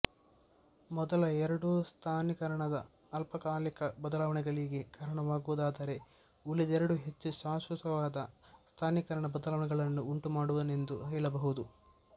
ಮೊದಲ ಎರಡೂ ಸ್ಥಾನೀಕರಣದ ಅಲ್ಪಕಾಲಿಕ ಬದಲಾವಣೆಗಳಿಗೆ ಕಾರಣವಾಗುವುದಾದರೆ ಉಳಿದೆರಡೂ ಹೆಚ್ಚು ಶಾಶ್ವತವಾದ ಸ್ಥಾನೀಕರಣ ಬದಲಾವಣೆಗಳನ್ನು ಉಂಟುಮಾಡುವುವೆಂದು ಹೇಳಬಹುದು